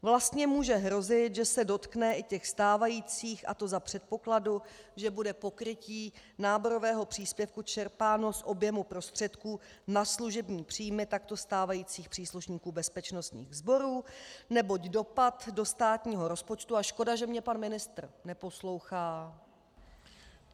Vlastně může hrozit, že se dotkne i těch stávajících, a to za předpokladu, že bude pokrytí náborového příspěvku čerpáno z objemu prostředků na služební příjmy takto stávajících příslušníků bezpečnostních sborů, neboť dopad do státního rozpočtu - a škoda, že mě pan ministr neposlouchá...